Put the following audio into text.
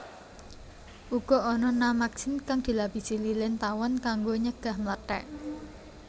Uga ana namaksin kang dilapisi lilin tawon kanggo nyegah mlethèk